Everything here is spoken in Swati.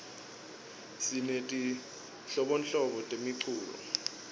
sinetinhlobonhlobo temiculo